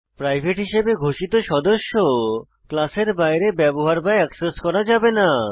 private হিসাবে ঘোষিত সদস্য ক্লাসের বাইরে ব্যবহৃত বা অ্যাক্সেস করা যাবে না